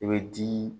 I bɛ di